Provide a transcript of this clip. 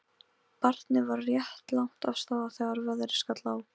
Barnið var rétt lagt af stað þegar veðrið skall á.